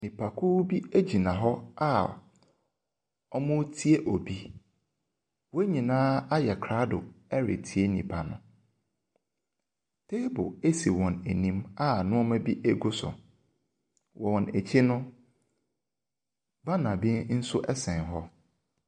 Nnipakuo bi gyina hɔ a wɔretie obi. Wɔn nyinaa ayɛ krado ɛretie nipa no. Table si wɔn anim a nneɛma gu so. Wɔn akyi no, banner bi sno sɛn hɔ.